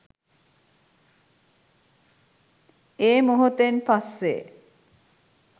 ඒ මොහොතෙන් පස්සේ